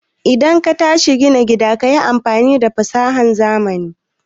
idan katashi gina gida kayi amfani da fasahan zamani